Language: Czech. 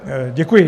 Děkuji.